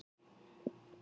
Jónsgeisla